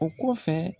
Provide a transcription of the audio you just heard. O kɔfɛ